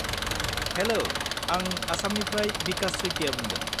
हेल'! आं आसामनिफ्राय बिकाश सइकिया बुंदों।